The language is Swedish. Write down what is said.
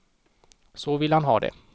Så vill han ha det.